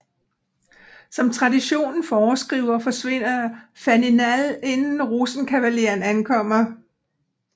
Som traditionen foreskriver forsvinder Faninal inden Rosenkavaleren ankommer